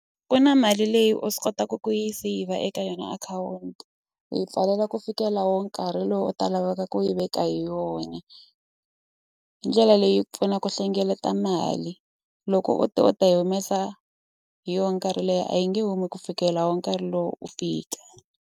Ku na mali leyi u swi kotaka ku yi seyivha eka yona akhawunti u yi pfalela ku fikela wo nkarhi lowu u ta laveka ku yi veka hi yona hi ndlela leyi pfuna ku hlengeleta mali loko u te u ta yi humesa hi yo nkarhi leyi a yi nge humi ku fikela wo nkarhi lowu u fika.